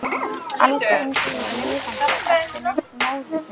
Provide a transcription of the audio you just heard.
Alda yngri er lifandi eftirmynd móður sinnar.